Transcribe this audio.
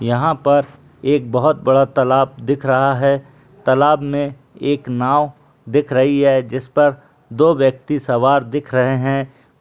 यहां पर एक बहुत बड़ा तालाब दिख रहा है तालाब में एक नाव दिख रही है जिसपर दो व्‍यक्ति सवार दिख रहे हैं।